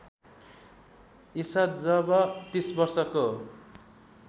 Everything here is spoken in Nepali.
ईसा जब ३० वर्षको